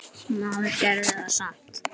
Maður gerði það samt.